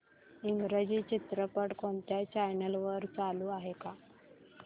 इंग्रजी चित्रपट कोणत्या चॅनल वर चालू आहे का